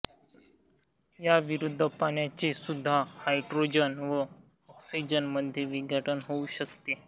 या विरुद्ध पाण्याचे सुद्धा हायड्रोजन व ऑक्सिजन मध्ये विघटन होउ शकते